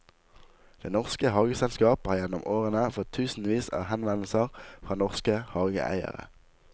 Det norske hageselskap har gjennom årene fått tusenvis av henvendelser fra norske hageeiere.